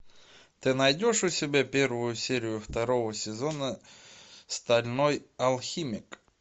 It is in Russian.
ты найдешь у себя первую серию второго сезона стальной алхимик